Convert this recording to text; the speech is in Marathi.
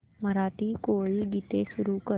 मराठी कोळी गीते सुरू कर